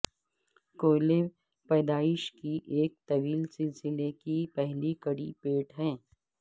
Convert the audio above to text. کوئلے پیدائش کی ایک طویل سلسلے کی پہلی کڑی پیٹ ہے